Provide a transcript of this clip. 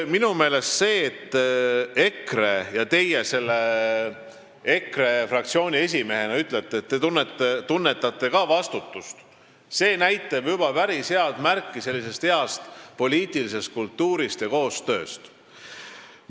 Minu meelest see, et EKRE ja teie selle fraktsiooni esimehena ütlete, et te tunnetate ka vastutust, näitab juba päris head märki heast poliitilisest kultuurist ja koostööst.